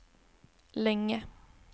länge